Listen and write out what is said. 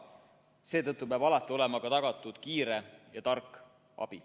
Seetõttu peab alati olema tagatud ka kiire ja tark abi.